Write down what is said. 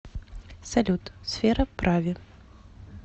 салют сфера прави